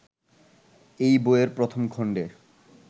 এই বইয়ের প্রথম খণ্ডে